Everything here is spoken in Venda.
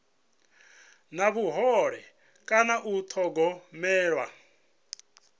na vhuhole kana u thogomelwa